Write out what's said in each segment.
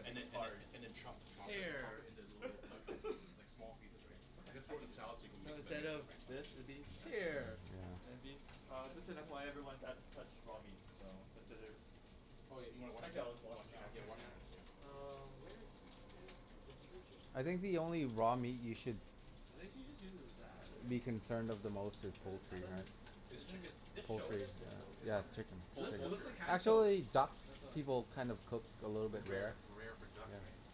And then and then and then, chop chop it chop Hair it into little bite size pieces, like small pieces, right. You Okay. gotta I throw it in can the do salad, so we that. can No, mix and instead mix it, of right, so this, it'd be Mkay. hair. And it'd be Uh just an FYI everyone, that's touched raw meat. So, consider Oh, you you wanna wash Actually your I'll hand? wash them now. Yeah. Wash your hands, yeah. Um where is the detergent? I think the only raw meat you should It think she just uses that, be right? concerned of the most is But I poultry, thought right. This chicken? dish soap Is it Yeah, what? of chicken. It Poul- looks it poultry, looks like right? hand soap, Actually, I duck, thought. people kind of cook a little bit Rare, rare. rare for duck, Yeah. right?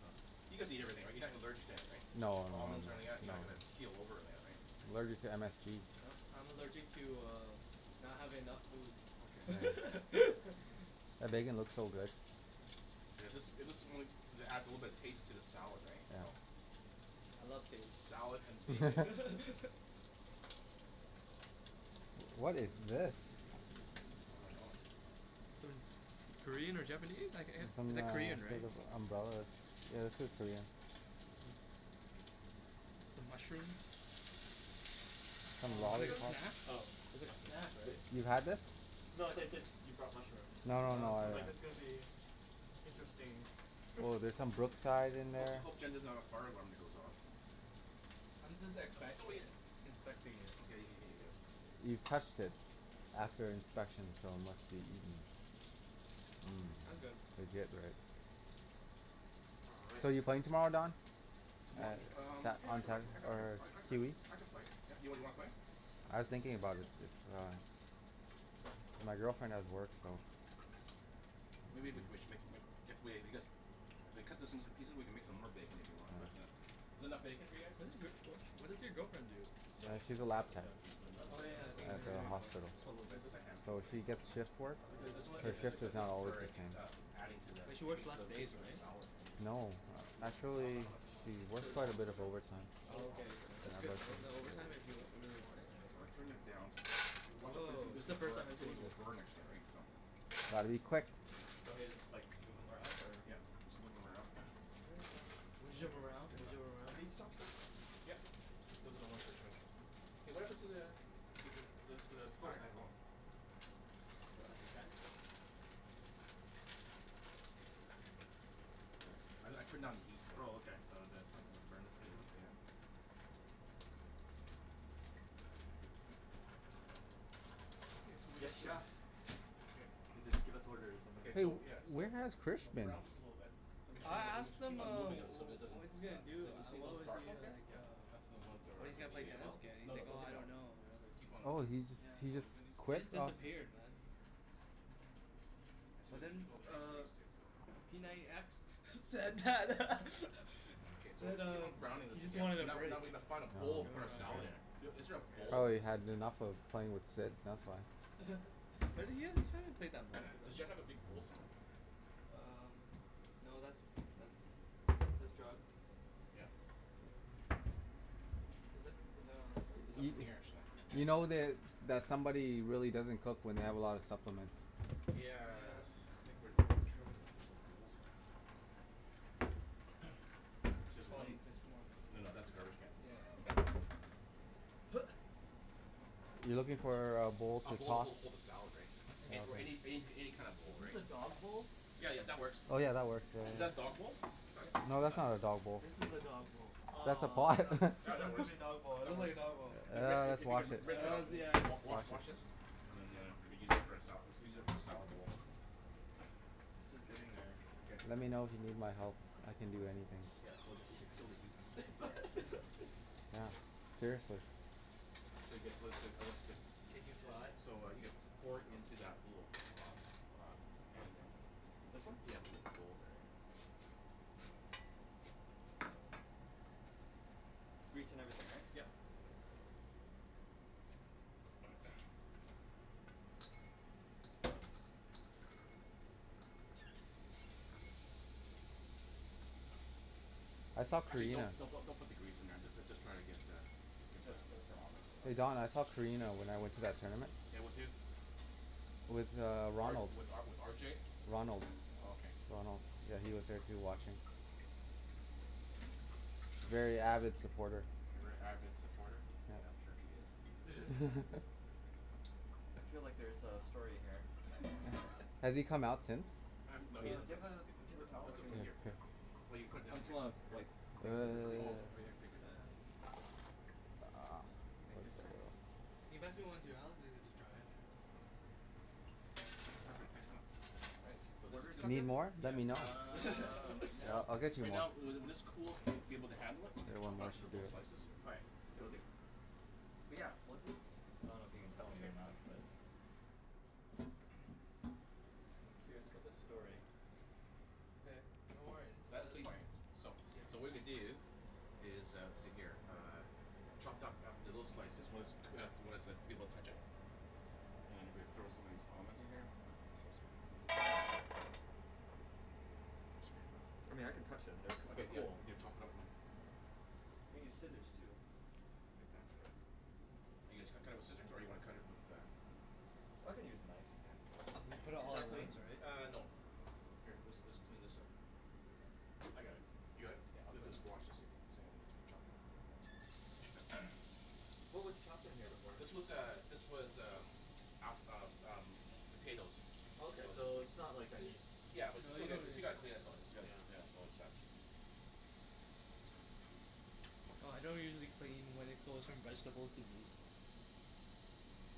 You guys eat everything, right? You're not allergic to anything? No no no Almonds or any no. of that? You're not gonna keel over or any of that, right? I'm allergic to MSG. Uh I'm allergic to uh not having enough Okay. food That bacon looks so good. Yeah. This, is this the one that adds a little bit of taste to the salad, right? So Yeah. I love taste. Salad and bacon. What is this? I dunno. Sort of Korean or Japanese It's like, some it's uh like sort Korean, right? of umbrella that's, yeah, this is Korean. Some mushrooms? Some kind of snack? It's a snack, right? You've had this? No, I said I said you brought mushrooms. No no I no was like, this is gonna be interesting. Oh, there's some Brookside in Hope there. t- hope Jen doesn't have a fire alarm that goes off. I'm just expect- like inspecting it. You've touched it after inspection so unless you eat 'em I'm Mm, good. legit, right? All right. So, you playing tomorrow, Don? Tomo- um yeah I I can I can Or I can I c- Huey? I can play, yeah. You wanna play? I was thinking about it, but uh. My girlfriend has work so Maybe we c- we sh- if we cut this into the pieces, we can make some more bacon, if you want? But uh is that enough bacon for you guys? What does your wh- what does your girlfriend do? So, So, we she's a lab can tech. put the nuts Oh yeah It's open in for you, how much? hospital. Just a little bit. Just a handful, So right. she So gets shift Um work. Her shift is not always the same. adding to the But she works tas- to less the days, taste of the right? salad, right? No. Do you want, I dunno know Actually, how much you want. she works These are quite a alm- bit these of are overtime. Oh whole okay. almonds right? That's good though. Is that overtime if you if you really wanted? So I turned it down. So watch out for this one Woah, this it's the one's first time burnt, I'm this seeing one will this. burn actually right so I'll be quick. Want me to just like, move them around, or? Yep. Just move 'em around. There you go. Bouge Shit. them It's around. good Bouge enough. them Are around. these chopsticks? Yep. Okay. Hey what happened to the the the the the the fire, oh. No elastic band? Thanks. I I turned down the heat so Oh okay. So that's not gonna burn Yeah yeah. Okay so we Yes get to chef. K. Give us orders and Ok then So so yeah, so where has Chris so been? brown this a little bit. Make Okay. sure I you, you asked ma- keep him on uh moving them wh- so it wh- doesn't, what he's gonna do, you don't see uh those what was dark the ones uh, here? like Yep. uh That's all the ones that are when he's gonna gonna play be Take them uh. tennis out? again and he's No no, like don't "Oh take I them out. don't know. I Just don't know." keep on Oh he just, keep he on just moving these Yeah. ones He here. quit? just Oh. disappeared man. Actually we But could then keep all the bacon uh grease too, so. p ninety x said that Okay so we said keep uh on browning he this just again, wanted a now break. now we need to find a bowl No to put our salad idea. in. Is there a bowl? Probably had enough of playing with Sid. That's why. But then you you haven't played that much with Does him. Jen have a big bowl somewhere? Um, no, that's that's that's drugs. Yeah. Is that is that on There's this one? Y- nothing here actually. you know that, that somebody really doesn't cook when they have a lot of supplements. Yeah. Yeah. I think we're having trouble with where the bowls are at. This is Just white, fine, just more. no no, that's a garbage Yeah. can. You're looking for uh a bowl A to bowl to toss hold hold the hold the salad right, or any any any kind of Is bowl this right. a dog bowl? Yeah, yeah, that works. Oh yeah, that works. Is that a dog bowl? That's not a dog, No, that's that's not not a dog a bowl. This is a dog bowl. That's a Aw I pot. thought I thought That that that was gonna works. be a dog bowl, it That looked works. like a dog bowl. Hey Rick if Let's if you wash can it. rinse that out, Hells yes. wa- wa- wash wash this. And then uh re-use it for a sala- let's use it as a salad bowl. This is getting there. Okay. Let me know if you need my help. I can do anything. Yeah, well it would it would kill the heat. Yeah, seriously. It's pretty good. It looks good, it looks good. Can you fly? So, uh, you could pour it into that little uh uh pan This there. one? This one? Yeah. Little bowl there. Yep. Grease and everything, right? Yep. I saw Actually don't, Karina don't don't put the grease in there, just uh just try to get the get the Just Hey Don, I saw Karina when I went to that tournament. Yeah, with who? With uh R Ronald. with uh with R J? Ronald. Oh okay. Ronald, yeah he was there too watching. Very avid supporter. A very avid supporter? Yeah, I'm sure he is. I feel like there's a story here. Has he come out since? Um Uh no, do he doesn't you ta- have a paper towel, I Let's all can put it here Here, for now. here. Well you put it I down just here. wanna wipe the things Oh right here, paper towel. Thank you sir. Can you pass me one too Perfect, thanks a lot. Right, So what this is just just, Need happened? more? Let yeah, me know. uh, right now, I'll get you right more. now, when this when this cools and you'll be able to handle it. You can chop it up into little slices. Alright, cool dude. But yeah, so what's this? I don't know if you can tell me or not but I'm curious about this story. Okay, no worries. That's clean right. So, Yeah. so what we're gonna do is uh see here. Uh chopped up little slices when it's cook- when it's like, you be able to touch it, and then you gonna be- throw some of these almonds in here. I mean I can touch them, Okay. they're Yeah you need to chop it up now. We need scissors too. It'd be faster. You guys cu- cut it with scissors? Or you wanna cut it with uh I can use a knife. Yeah. Put it Is all that at clean? once, right? Uh, no. Here this this clean this up. Okay. I got it. You Yeah, got it? I'll clean Just just wash this thing. What was chopped in here before? This was uh this was um app- um um potatoes. Okay, So so just it's not like I need Yeah but No, still you got- don't still need gotta clean it though, it's gotta, Yeah. yeah, so it's not Well I don't usually clean when it goes from vegetables to meat.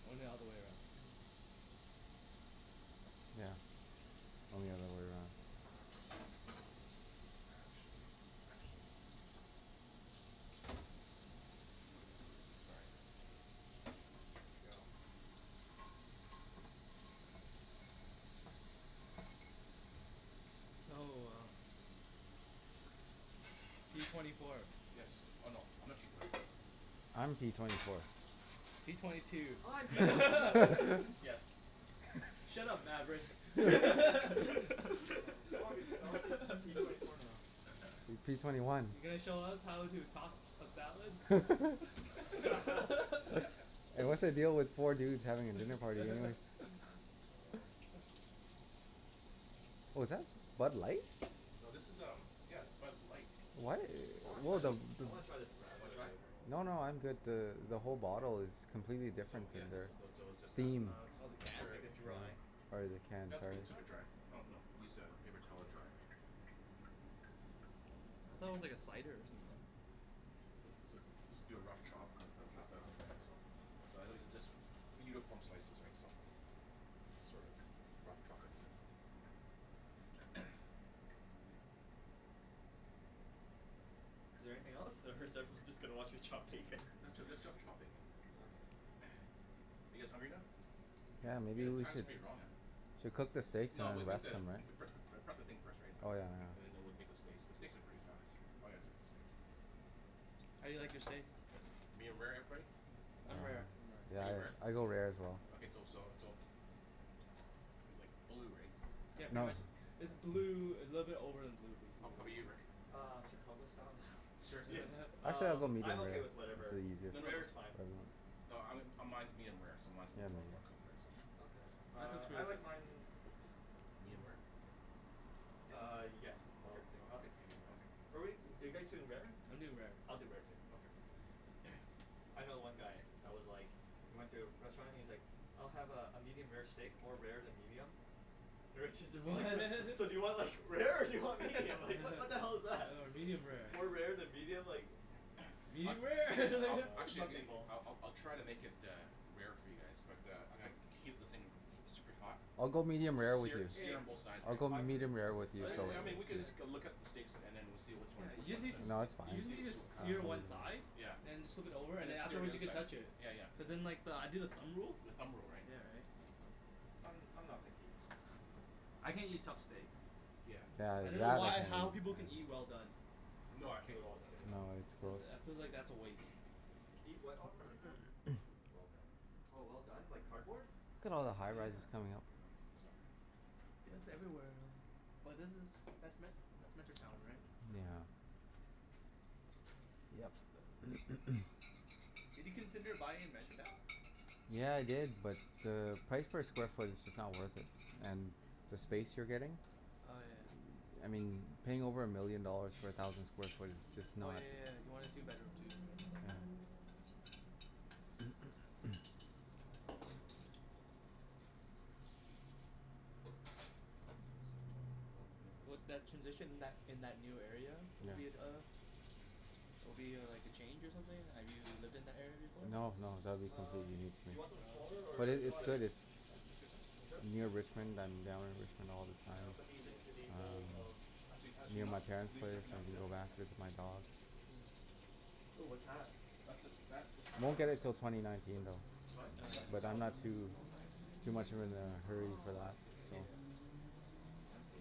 Only the other way around. Yeah. Only the other way around. Actually. Actually. Sorry. There we go. Oh uh p twenty four. Yes. Oh no. I'm not p twenty four. I'm p twenty four. P twenty two. I'm p twenty four. Yes. Shut up Maverick. Aw I wanna spea- I wanna speak with p twenty four now. P twenty one. You gonna show us how to toss a salad? And what's the deal with four dudes having a dinner party What was that? Bud Light? No this is um, yeah, Bud Light, What? I wanna try What the this the I wanna try this radler wanna try? later. No no, I'm good. The the whole bottle is completely So different yeah, than just, their those, so it's just a. theme. Uh Oh, the Make can? it's, sure. like a dry. Or their Doesn't can, have to sorry. be Is super it? dry. Oh no, use a paper towel to dry. I thought it was like a cider or something. Let's do a rough chop put this Rough into chop? stuff, yeah Okay. so. So I literally just Uniform slices right so. Sorta, rough chopping Is there anything else or is everyone just gonna watch me chop bacon? Let's ju- let's just chop bacon. Are you guys hungry now? Yeah, Hey maybe the we time's should pretty wrong uh. Should we cook the steaks No and we'll then make rest the, them pre- right? pre- prep the thing first right so Oh yeah, no no. and then we'll make the steaks, the steaks are pretty fast. I'm gonna cook the steaks. How do you like your steak? Medium rare, everybody? I'm rare. Are Yeah, you rare? I go rare as well. Okay so so so But like blue, right? Yeah pretty No. much, is blue, a little bit over than blue How how 'bout basically. you Rick? Uh Chicago style yeah, Seriously? Actually I'll um go I'm medium rare. okay with It's whatever, the easier No no, rare is fine. no, um mine mine is medium rare so mine's mine's gonna be more more cooked right so. Okay, uh I like mine Medium rare? Uh yeah, I'll take, I'll Okay. take medium rare. Okay. But wait, are you guys doing rare? I'm doing rare. I'll do rare too. Okay. I know one guy that was like, he went to a restaurant and he's like, "I'll have uh a medium rare steak, more rare than medium." The waitress is Oh like "So so do you want like rare, or do you want medium, like what the hell is that?" medium rare. More rare than medium, like Yeah. I Medium rare Oh I'll no, like actually some people I'll I'll try to make it uh rare for you guys but uh I'm gonna keep the thing keep super hot, I'll go medium rare with sear you, Hey, sear on both sides I'll right. go I'm medium rare with you I so w- I mean we could just go look up the steaks and then we'll see which Yeah, ones, which you just one's need that, to No, s- that's , you fine. just see need which to we'll cut. sear one side, Yeah. and then just flip it S- over and and then sear the afterwards other you can side. touch it, Yeah yeah. cuz then like I do the thumb rule. The thumb rule, right. Yeah right. I'm I'm not picky. I can't eat tough steak. Yeah. Yeah, I dunno why or how that people can eat well done. No, Do I can't it eat all well at the done. same No, time. it's gross. I I feel like that's a waste. Eat what all at the same time? Well done. Oh well done, like cardboard? Look at all the high rises Yeah. coming up. I'm gonna heat this up here. Yeah it's everywhere um But this is, that's Me- that's Metrotown right? Yeah. Yep. Did you consider buying in Metrotown? Yeah I did, but the price per square foot is just not worth it and the space you're getting, Oh yeah. I mean paying over a million dollars for a thousand square foot is just Oh not. yeah yeah yeah. Yeah. You wanted a two bedroom too. What, that, transition in that in that new area, would be Yeah. at uh Will be uh like a change or something? Have you lived in that area before? No, no, that'll be Um completely new to do me. you want Oh them smaller okay. But or it, is this No, it's that's good. good? good. It's Yeah? That's that's good size. Are you sure? near Yep. All right. Richmond. I'm down in Richmond all the And I'll time, put these into the um bowl of Actually actually, you Near know my what? I can parents' leave it there place. for I now. Yeah? can go back, Okay. visit my dogs. Ooh what's that? That's the, that's the salad Won't get it dressing. til twenty nineteen though, It's what? That's the but I'm salad not dressing. too Oh nice. too much of in a hurry for Oh, I that see. so Fancy.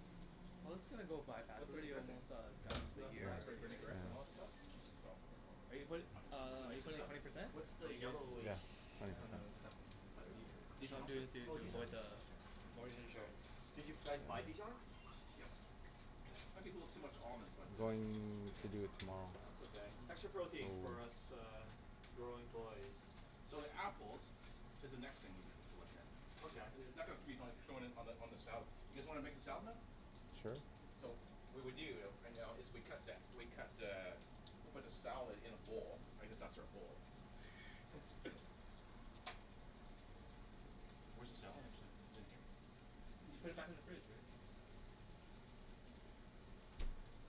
Well it's gonna go by fast, What's we're in the already dressing? almost uh done Yeah, the That year raspberry vinaigrette and all yeah. that stuff. So Are Oh. you put- We can uh are you mix this putting up. twenty percent? What's The the yellowish Yeah. Twenty kind percent. of, butter Dijon I'm mustard. doing or? it to Oh, to Dijon. avoid the Okay. the mortgage So insurance. Did you guys buy Dijon? Yep. Okay. Let people have too much almonds but I'm uh going to do it tomorrow. That's okay. Extra protein for us uh growing boys. So the apples is the next thing we need to Okay. I- it's not gonna on the on the salad. You guys wanna make the salad now? Sure. So, what we do though right now is we cut that, we cut the, we put the salad in a bowl. I guess that's our bowl. Where's the salad mixer? Is it here? You put it back in the fridge Rick. Okay.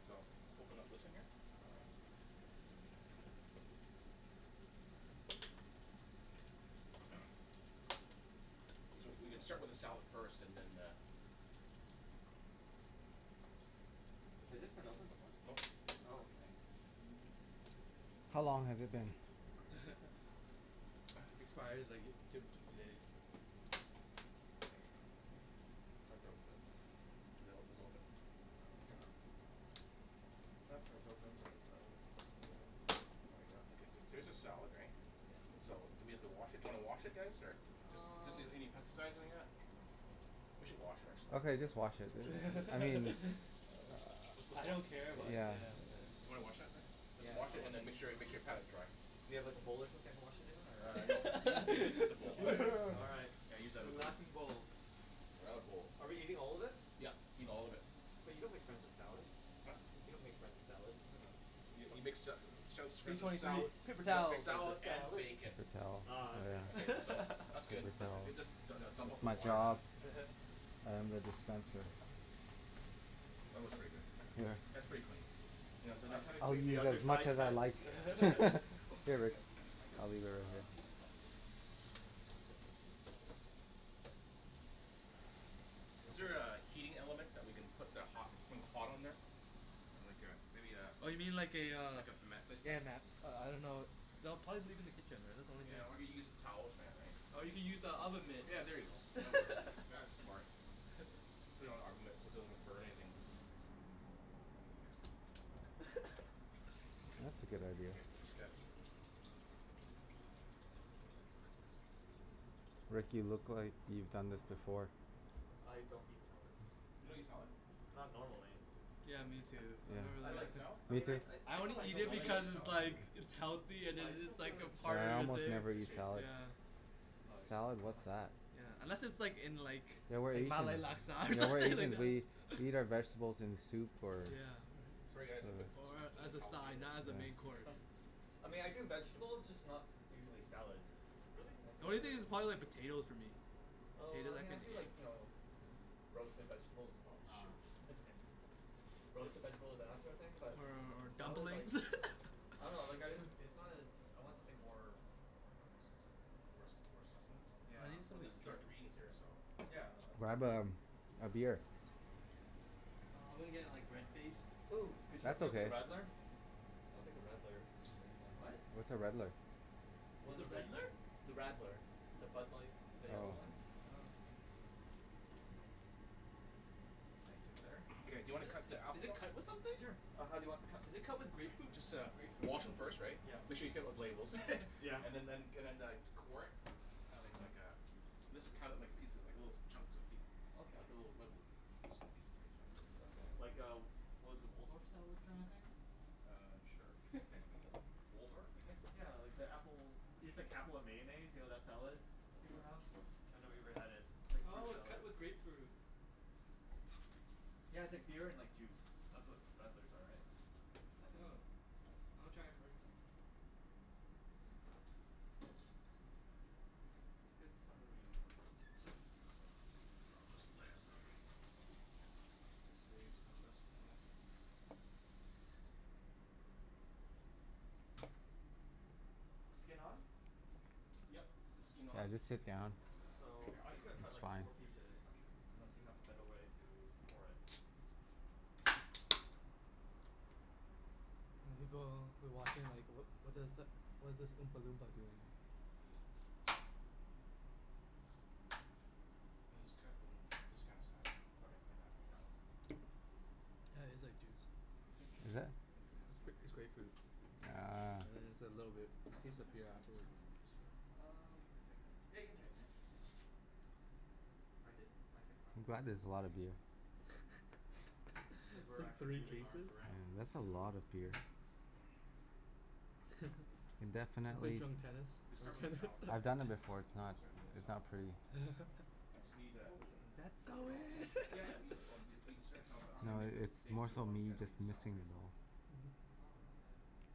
So open up this one here. All right. We c- we can start with the salad first, and then uh Has this been opened before? Nope. Oh, okay. How long has it been? Expires like to- today. There we go. I broke this. Is it o- is it open? No, it's Here. not. That part's open, but this part is just really, there we go. There's a salad right? So do we have to wash it, do you wanna wash it guys or? Just Um doesn't need any pesticides or anything like that. We should wash it actually. Okay just wash it, I mean, Let's uh, just I wash don't it. care, but yeah. yeah. Wanna wash that man? Just Yeah, wash it I'll wash and then that. make sure make sure you pat it dry. Do you have like a bowl or something to wash it in or? Uh, no, you you just need the bowl. All right. Yeah, use that other The laughing one. bowl. We're out of bowls. Are we eating all of this? Yep, eat all of it. But you don't make friends with salad. Huh? You don't make friends with salad. I dunno. Y- you make sa- sa- sa- P friends twenty with three. sala- Paper You don't towel. make friends salad with and salad. bacon. Paper towel. Oh okay. Yeah. Okay so, that's good. Paper towels. Just du- du- dump out It's the my water now. job. Yeah. I am the dispenser. That works for you guys. Here. That's pretty clean. Yeah, then I I can haven't I'll cleaned the use other as much side of as I that. like. Here, Here lick Rick. it. Lick it. I'll leave it right here. You Is want there my a heating element that we can put the hot hot on there? Like a, maybe a Oh you mean like a uh, Like a mat placement. yeah ma- uh I dunno. No, probably leave it in the kitchen. That's the only thing Yeah I can or we get some towel or something right. Or you can use the oven mitt. Yeah, there you go. That works. That's smart. Put it on an oven mitt so it doesn't burn anything. That's a good idea. Okay, I just got Rick, you look like you've done this before. I don't eat salad. You don't eat salad? Not normally. Yeah, me too. I've never I You really like, don't I like Me mean I too. I, I it's not that only I eat don't it like it. because like it's salad? like it's healthy and But I just it's don't feel like like a Yeah, part I of the almost thing. never eat salad. Yeah. Oh, yes. Salad, Oh, what's nice. that? Yeah. Unless it's like in like Yeah we're eating, Malay laksa or yeah we're something like eating the, that. we eat our vegetables in soup or Yeah. Sorry guys, I'm gonna put s- s- s- s- Or s- some of as the a salad food side, here. not as a main course. I mean I do vegetables, just not usually salad. Really? I The do only other thing is vegetables probably like first. potatoes for me. Oh I Potatoes I mean I can do eat. like, you know roasted vegetables, Oh, uh, shoot. that's okay. Roasted vegetables and that sort of thing, but Or or salad, like dumplings? I dunno, like, I, it's not as, I want something more More s- s- , more sustenance? yeah. I need Well some this is our greens here so. Yeah, no it's it's Grab good. a a beer. Nah, I'm gonna get like red faced. Ooh, could you hook That's me up with a okay. radler? I'll take a radler, if there is one. What? What's a redler? What's One a of the, redler? the radler. The Bud Light, the yellow Oh. one? Oh. Thank you sir. Okay do you wanna cut the Is apples it now? cut with something? Sure, uh how do you want them cut? Is it cut with grapefruit, Just uh grapefruit or wash 'em something? first right. Yeah. Make sure you take off the labels. Yeah. And then and and then uh core it, like like a mis- cut it like little pieces, like little chunks and piece. Okay. Like little small pieces right Okay, so. like a, what is it, Waldorf style kind of thing? Uh, sure. Waldorf? Yeah like the apple, Oh it's sh- like apple and mayonnaise, you know that salad that Oh people okay. have? I've never even had it. It's like a fruit Oh, it's salad. cut with grapefruit. Yeah, it's like beer and like juice. That's what radlers are, right? I think. Oh. I wanna try it first then. It's a good summery Gonna save some of this, why not? Skin on? Yep. Okay. Skin Yeah, on. I'll just sit down. Here So, here, I'm I'll just gonna show cut It's like fine. four pieces, Here, I'll show unless you. you have a better way to core it. The people who are watching are like, "What what does, what is this oompa loompa doing?" And then just cut it in this kind of size. Okay. Like that, right so. Yeah, it's like juice. Is it? I think it's a little It's grape- slippery it's here. grapefruit. Yeah. Ah. Yeah it's a little bit, it tastes like it's beer coming it's afterwards. coming on loose or? Um. Think Yeah, I you can can tighten it? tighten it. Ah. I did, I tightened mine I'm a glad couple there's times a lot already. of beer. Cuz It's we're like actually three moving arms cases? I around mean, that's a lot of beer. Can definitely Wanna play s- drunk tennis? We'll start with the Drunk salad first, I've eh? done tennis. that before, Okay. it's not Start eating the it's salad. not pretty. I just need a Well, we can That's we so can all eat in! together Yeah right? yeah, but I'm No, going make the i- it's steaks more too so while you me guys eat just the salad, missing the right so. ball. Oh, okay.